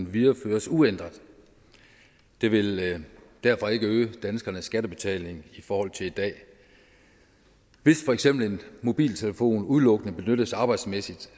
videreføres uændret det vil derfor ikke øge danskernes skattebetaling i forhold til i dag hvis for eksempel en mobiltelefon udelukkende benyttes arbejdsmæssigt